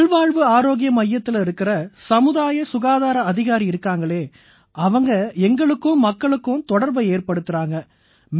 நல்வாழ்வு ஆரோக்கிய மையத்தில இருக்கற சமுதாய சுகாதார அதிகாரி இருக்காங்களே அவங்க எங்களுக்கும் தொலைவான பகுதிகள்ல இருக்கற மக்களுக்கும் தொடர்பை ஏற்படுத்தறாங்க